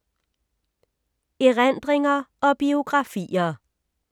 Erindringer og biografier